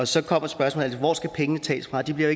så kommer spørgsmålet altid hvor skal pengene tages fra de bliver